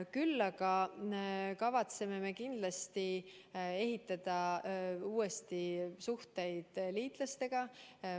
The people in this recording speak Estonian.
Küll aga kavatseme me kindlasti ehitada uuesti suhteid liitlastega.